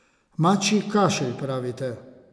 Mačji kašelj, pravite?